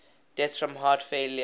deaths from heart failure